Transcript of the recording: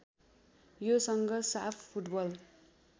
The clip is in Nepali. योसँग साफ फुटबल